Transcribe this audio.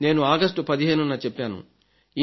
నేను ఆగస్టు 15న చెప్పాను